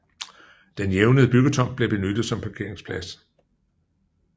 Den jævnede byggetomt blev benyttet som parkeringsplads